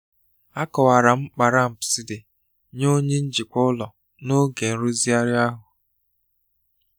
Akọwara m mkpa ramps dị nye onye njikwa ụlọ n'oge nrụzigharị ahụ.